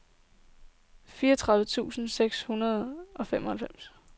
fireogtredive tusind seks hundrede og femoghalvfems